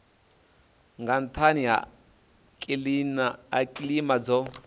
nga nhani ha kilima dzo